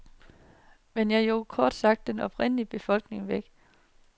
Man jog kort sagt den oprindeligte befolkning væk.